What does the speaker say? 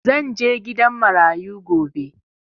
Zan je gidan marayu gobe